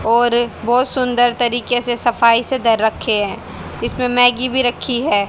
और बहुत सुंदर तरीके से सफाई से घर रखे हैं इसमें मैगी भी रखी है।